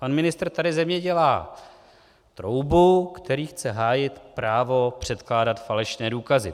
Pan ministr tady ze mě dělá troubu, který chce hájit právo předkládat falešné důkazy.